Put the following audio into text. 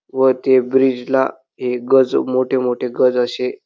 व ते ब्रिज ला हे गज मोठे मोठे गज अशे--